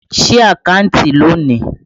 Sí àkántì lónìí!